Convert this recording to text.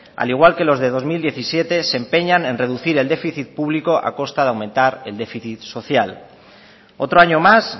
al igual que los del dos mil diecisiete se empeñan en reducir el déficit público a costa de aumentar el déficit social otro año más